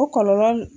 O kɔlɔlɔ